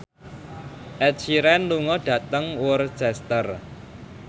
Ed Sheeran lunga dhateng Worcester